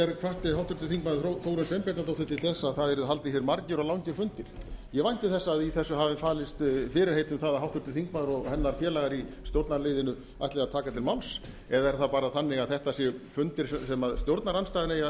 hvatti til þess að það yrðu haldnir margir og langir fundir ég vænti þess að í þessu hafi falist fyrirheit um að háttvirtur þingmaður og hennar félagar í stjórnarliðinu ætli að taka til máls eða er það bara þannig að þetta séu fundir sem stjórnarandstaðan eigi